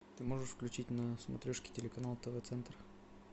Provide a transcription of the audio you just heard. ты можешь включить на смотрешке телеканал тв центр